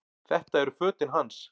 Þetta eru fötin hans!